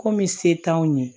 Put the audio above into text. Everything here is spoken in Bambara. Komi se t'anw ye